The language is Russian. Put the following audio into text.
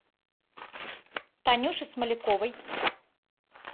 танюши смоляковой